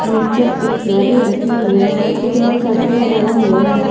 Mixture इत्यादि रखे हुवे हैं गेट में शटर लगाया हुआ है।